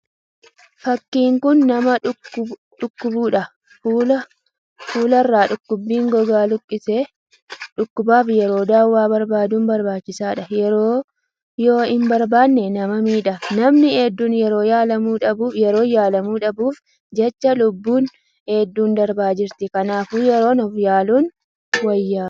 fakkiin kun nama dhukkubuudhaan fuularra dhukkubichi gogaa luqqise. Dhukkubaaf yeroo dawaa barbaddun barbaachisaadha yeroo yoo hin barbaanne nama miidha. Namni hedduun yeroon yaalamuu dhabuuf jechaa lubbuun hedduun darbaa jirti. Kanaafuu yeroo uf yaaluu wayya.ኸነቸኸወቸቸ